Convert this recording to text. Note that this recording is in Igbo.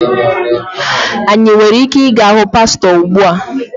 Anyị nwere ike ịga hụ pastọ ugbu a?